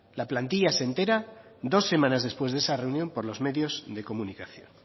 la plantilla se entera dos semanas después de esa reunión por los medios de comunicación